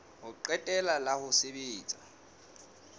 ho qetela la ho sebetsa